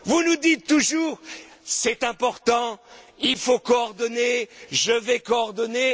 Vous nous dites toujours c'est important, il faut coordonner, je vais coordonner....